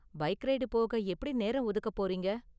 Bike ride போக எப்படி நேரம் ஒதுக்க போறீங்க?